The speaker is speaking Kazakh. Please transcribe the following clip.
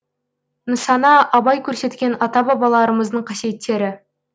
нысана абай көрсеткен ата бабаларымыздың қасиеттері